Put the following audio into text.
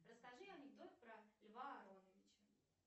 расскажи анекдот про льва ароновича